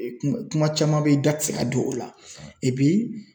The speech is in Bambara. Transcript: Kuma kuma caman bɛ ye i da ti se ka don o la